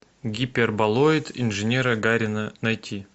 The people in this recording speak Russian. гиперболоид инженера гарина найти